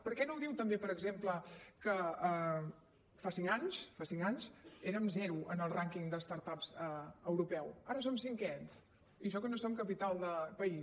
per què no diu també per exemple que fa cinc anys fa cinc anys érem zero en el rànquing de start ups europeu ara som cinquens i això que no som capital de país